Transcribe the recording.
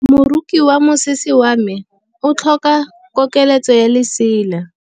Moroki wa mosese wa me o tlhoka koketsô ya lesela.